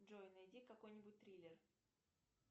джой найди какой нибудь триллер